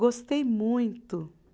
Gostei muito.